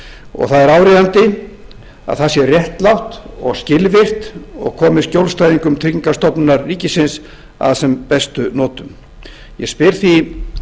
og það er áríðandi að það sé réttlátt og skilvirkt og komu skjólstæðingum tryggingastofnunar ríkisins að sem bestum notum ég spyr því